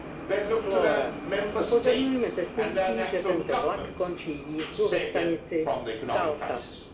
They looked to their Member States and their national governments to save them from the economic crisis.